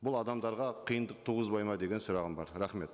бұл адамдарға қиындық туғызбайды ма деген сұрағым бар рахмет